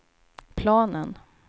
planen